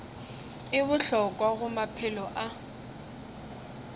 e bohlokwa go maphelo a